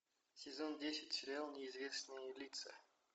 сезон десять сериал неизвестные лица